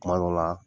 Kuma dɔ la